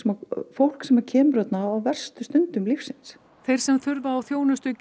fólk sem kemur þarna á verstu stundum lífs síns þeir sem þurfa á þjónustu